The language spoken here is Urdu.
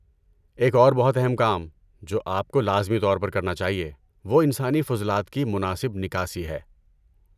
ایک اور بہت اہم کام جو آپ کو لازمی طور پر کرنا چاہیے وہ انسانی فضلات کی مناسب نکاسی ہے۔